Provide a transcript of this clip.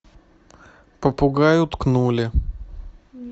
попугаю ткнули